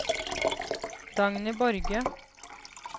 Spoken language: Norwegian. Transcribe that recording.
Dagny Borge